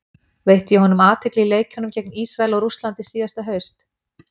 Veitti ég honum athygli í leikjunum gegn Ísrael og Rússlandi síðasta haust?